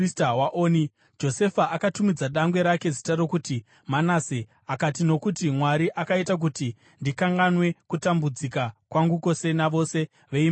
Josefa akatumidza dangwe rake zita rokuti Manase akati, “Nokuti Mwari akaita kuti ndikanganwe kutambudzika kwangu kwose navose veimba yababa vangu.”